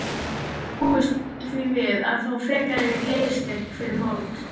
Búist þið við að fá frekari liðsstyrk fyrir mót?